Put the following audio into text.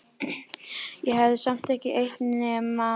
Ég hefi samt ekki eytt nema